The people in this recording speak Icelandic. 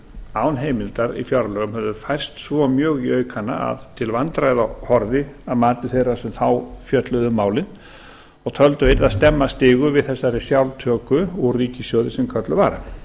án heimildar í fjárlögum höfðu færst svo mjög í aukana að til vandræða horfði að mati þeirra sem þá fjölluðu um málið og töldu að yrði að stemma stigu við þessari sjálftöku úr ríkissjóði sem kölluð var